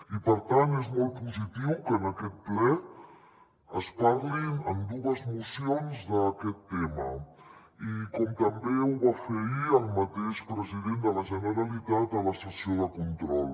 i per tant és molt positiu que en aquest ple es parli en dues mocions d’aquest tema com també ho va fer ahir el mateix president de la generalitat a la sessió de control